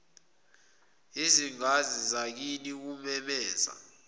izingwazi zakini kumemeza